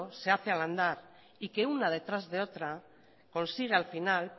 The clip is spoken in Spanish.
se hace al andar y que una detrás de otra consigue al final